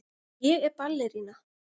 Ég er ballerína.